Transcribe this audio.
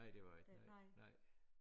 Nej det var jeg ikke nej nej